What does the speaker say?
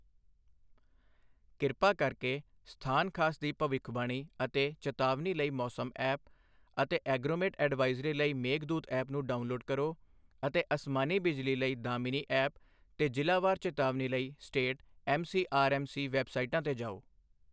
ਕਿਰਪਾ ਕਰਕੇ ਸਥਾਨ ਖਾਸ ਦੀ ਭਵਿੱਖਬਾਣੀ ਅਤੇ ਚੇਤਾਵਨੀ ਲਈ ਮੌਸਮ ਐਪ ਅਤੇ ਐਗਰੋਮੇਟ ਐਡਵਾਈਜ਼ਰੀ ਲਈ ਮੇਘਦੂਤ ਐਪ ਨੂੰ ਡਾਉਨਲੋਡ਼ ਕਰੋ ਅਤੇ ਅਸਮਾਨੀ ਬਿਜਲੀ ਲਈ ਦਾਮਿਨੀ ਐਪ ਤੇ ਜਿਲਾ ਵਾਰ ਚੇਤਾਵਨੀ ਲਈ state M C R M C ਵੈਬਸਾਈਟਾਂ ਤੇ ਜਾਉ।